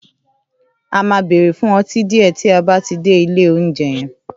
À máa bèrè fun õtí dìé tí a bátí dè I'll ounjé yen